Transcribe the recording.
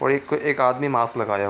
और एक तो एक आदमी मास्क लगाया हुआ है।